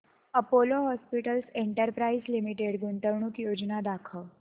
Apollo Hospitals Enterprise Limited गुंतवणूक योजना दाखव